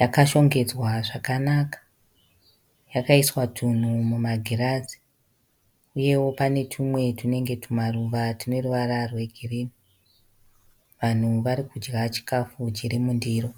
yakashongedzwa zvakanaka yakaiswa tunhu mumagirazi uyewo pane tumwe tuneruvara rwegirinhi. Vanhu varikudya chikafu chiri mundiro.